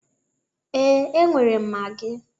Ee, enwere m magi.